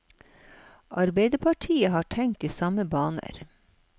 Arbeiderpartiet har tenkt i samme baner.